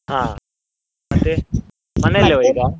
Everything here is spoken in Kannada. ಹಾ ಮತ್ತೆ, ಈಗ?